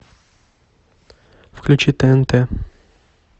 включи тнт